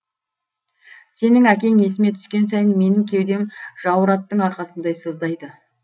сенің әкең есіме түскен сайын менің кеудем жауыр аттың арқасындай сыздайды